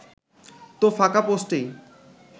তো ফাঁকা পোস্টেই